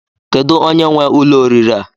Kedụ onye nwe ụlọ oriri a?